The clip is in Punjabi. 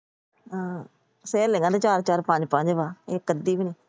ਆਹ ਸਹੇਲੀਆਂ ਤਾਂ ਚਾਰ ਚਾਰ ਪੰਜ ਪੰਜ ਵਾ। ਇੱਕ ਅੱਧੀ ਵੀ ਨਹੀਂ।